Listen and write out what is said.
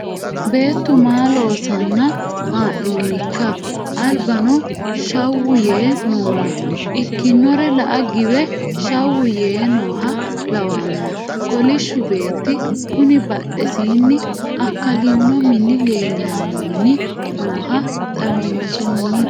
Beettu maa loosanna ha'nonikka albano shawu yee noonna ikkinore la"a giwe shawu yee nooha lawano kolishshu beetti kuni badhesinni akalino mini leellanni nooha xawinsonni.